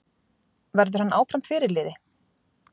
Verður hann áfram fyrirliði?